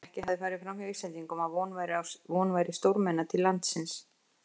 Ekki hafði farið framhjá Íslendingum, að von væri stórmenna til landsins.